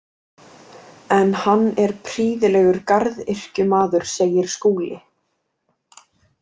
En hann er prýðilegur garðyrkjumaður, segir Skúli.